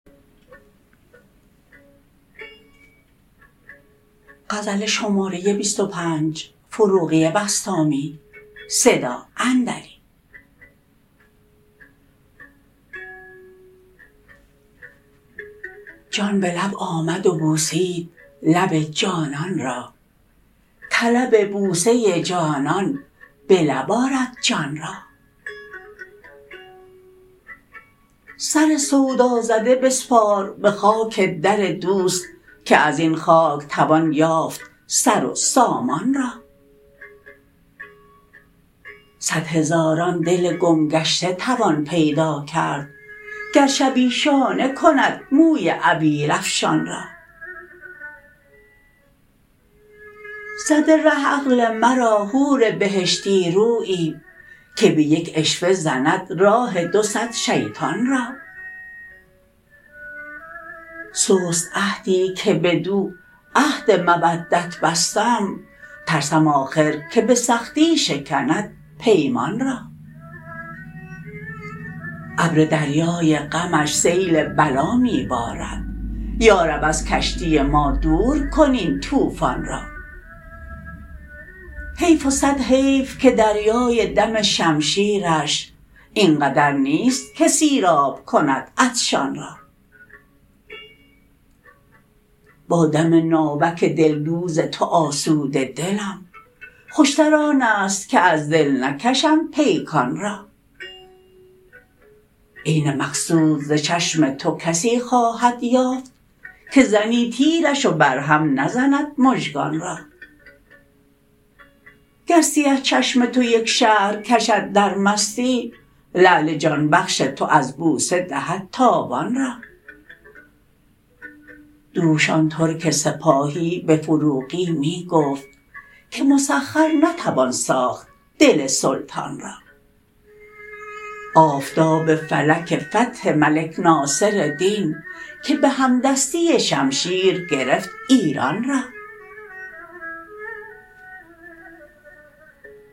جان به لب آمد و بوسید لب جانان را طلب بوسه جانان به لب آرد جان را سر سودا زده بسپار به خاک در دوست که از این خاک توان یافت سر و سامان را صد هزاران دل گم گشته توان پیدا کرد گر شبی شانه کند موی عبیر افشان را زده ره عقل مرا حور بهشتی رویی که به یک عشوه زند راه دو صد شیطان را سست عهدی که بدو عهد مودت بستم ترسم آخر که به سختی شکند پیمان را ابر دریای غمش سیل بلا می بارد یا رب از کشتی ما دور کن این توفان را حیف و صد حیف که دریای دم شمشیرش این قدر نیست که سیراب کند عطشان را با دم ناوک دل دوز تو آسوده دلم خوش تر آن است که از دل نکشم پیکان را عین مقصود ز چشم تو کسی خواهد یافت که زنی تیرش و بر هم نزند مژگان را گر سیه چشم تو یک شهر کشد در مستی لعل جان بخش تو از بوسه دهد تاوان را دوش آن ترک سپاهی به فروغی می گفت که مسخر نتوان ساخت دل سلطان را آفتاب فلک فتح ملک ناصر دین که به هم دستی شمشیر گرفت ایران را